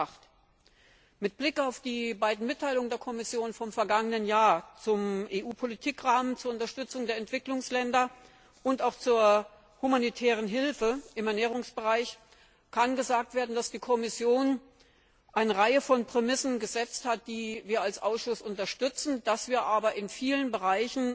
208? Mit Blick auf die beiden Mitteilungen der Kommission vom vergangenen Jahr zum EU Politikrahmen zur Unterstützung der Entwicklungsländer und auch zur humanitären Hilfe im Ernährungsbereich kann gesagt werden, dass die Kommission eine Reihe von Prämissen gesetzt hat, die wir als Ausschuss unterstützen, dass wir aber der